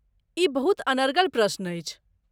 ई बहुत अनर्गल प्रश्न अछि।